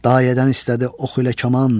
Dayədən istədi ox ilə kaman.